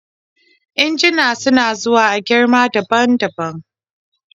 injuna suna zuwa a girma daban daban